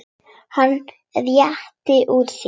Hann rétti úr sér.